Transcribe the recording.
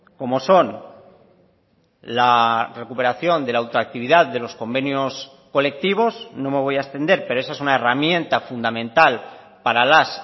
como son la recuperación de la ultraactividad de los convenios colectivos no me voy a extender pero esa es una herramienta fundamental para las